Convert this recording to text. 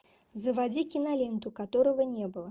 заводи киноленту которого не было